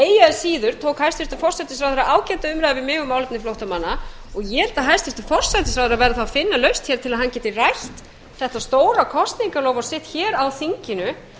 síður tók hæstvirtan forsætisráðherra ágæta umræðu við mig um málefni flóttamanna og ég held að hæstvirtur forsætisráðherra verði þá að finna lausn hér til að hann geti rætt þetta stóra kosningaloforð sitt hér á þinginu